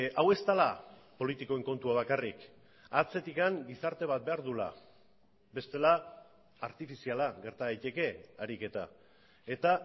hau ez dela politikoen kontua bakarrik atzetik gizarte bat behar duela bestela artifiziala gerta daiteke ariketa eta